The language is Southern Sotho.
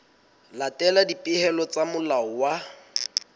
latela dipehelo tsa molao wa